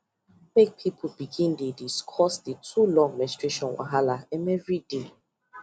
make people begin dey discuss the too long menstruation wahala um everyday